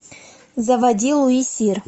заводи луи сир